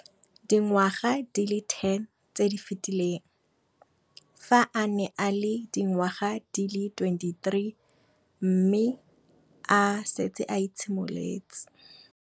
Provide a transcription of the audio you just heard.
Dingwaga di le 10 tse di fetileng, fa a ne a le dingwaga di le 23 mme a setse a itshimoletse